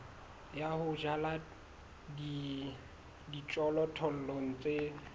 ya ho jala dijothollo tse